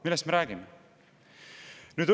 Millest me räägime!?